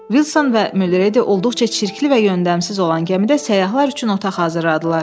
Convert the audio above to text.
Vilson və Mülredi olduqca çirkli və yöndəmsiz olan gəmidə səyyahlar üçün otaq hazırladılar.